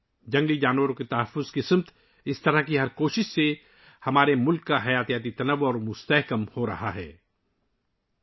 جنگلی حیات کے تحفظ کے لیے ایسی ہر کوشش ہمارے ملک کے حیاتیاتی تنوع کو مزید تقویت بخش رہی ہے